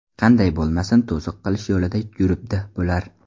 Qanday bo‘lmasin to‘siq qilish yo‘lida yuribdi bular.